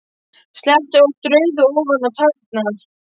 Sletti óvart rauðu ofan á tærnar.